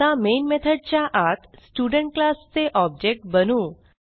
आता मेन मेथडच्या आत स्टुडेंट क्लास चे ऑब्जेक्ट बनवू